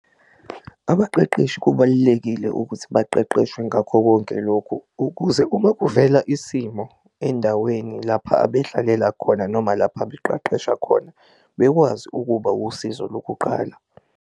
Abaqeqeshi kubalulekile ukuthi baqeqeshwe ngakho konke lokhu ukuze uma kuvela isimo endaweni lapha abedlalela khona, noma lapha beqeqesha khona bekwazi ukuba usizo lokuqala.